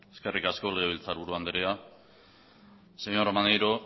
eskerrik asko legebiltzarburu andrea señor maneiro